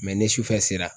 ni sufɛ sera